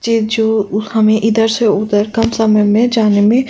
जे जो हमें इधर से उधर कम समय मे जाने में --